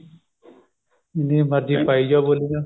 ਜਿੰਨੀ ਮਰਜੀ ਪਾਈ ਜਾਓ ਬੋਲੀਆਂ